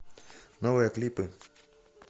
новые клипы